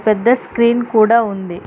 పెద్ద స్క్రీన్ కూడా ఉంది.